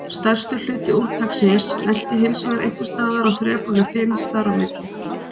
Stærstur hluti úrtaksins lenti hinsvegar einhvers staðar á þrepunum fimm þar á milli.